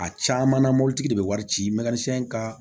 A caman na mobilitigi de be wari ci ka